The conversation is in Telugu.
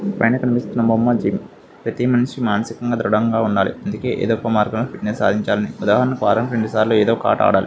పైన కనిపిస్తున్న బొమ్మచ్చి ప్రతి మనిషి మానసికంగా దృడంగా ఉండాలి. అందుకే ఏదో ఒక మార్గం లో ఫిట్నె స్ సాదించాలి. వారానికి రెండు సార్లు ఏదో ఒక ఆట ఆడాలి.